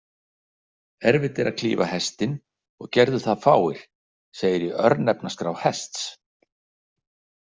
„Erfitt er að klífa Hestinn, og gerðu það fáir“, segir í örnefnaskrá Hests.